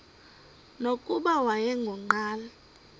nokuba wayengu nqal